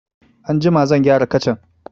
Anjima zan gyara kacan.